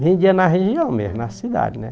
Vendia na região mesmo, na cidade, né?